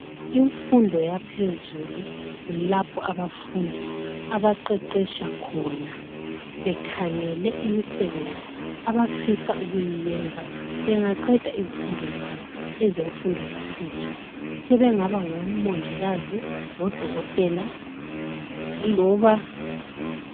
Imfundo yaphezulu kulapho abafundi abaqeqetsha khona bekhangele imisebenzi abafisa ukuyenza bengaqeda izifundo zabo ezemfundo yaphezulu sebengaba ngomongikazi ngodokotela.